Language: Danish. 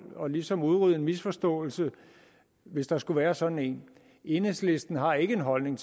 og ligesom udrydde en misforståelse hvis der skulle være sådan en enhedslisten har ikke den holdning